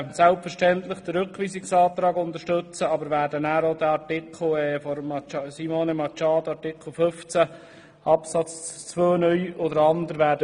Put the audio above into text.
Selbstverständlich werden wir den Rückweisungsantrag unterstützen, aber auch den Antrag von Simone Machado zu Artikel 15 Absatz 2 (neu) sowie den anderen.